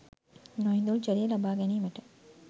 නොඉඳුල් ජලය ලබා ගැනීමට